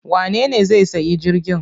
Wanene zai sayi jirgin?